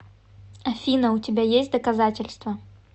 афина у тебя есть доказательства